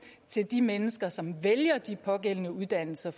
til de mennesker som vælger de pågældende uddannelser